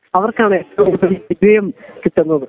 അവർക്കാണ് ഏറ്റവും കൂടുതൽ വിജയം കിട്ടുന്നത്